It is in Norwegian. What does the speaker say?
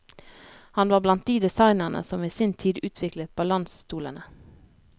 Han var blant de designerne som i sin tid utviklet balansstolene.